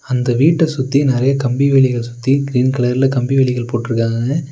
அந்த வீட்ட சுத்தி நெறைய கம்பி வேலிய சுத்தி க்ரீன் கலர்ல கம்பி வேலிகள் போட்ருக்காங்க.